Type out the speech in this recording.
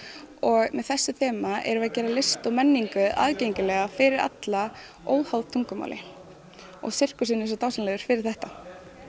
og með þessu þema erum við að gera list og menningu aðgengilega fyrir alla óháð tungumáli og sirkusinn er svo dásamlegur fyrir þetta